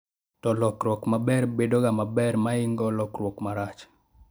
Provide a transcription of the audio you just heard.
to lokruok maber bedo ga maber moingo lokruok marach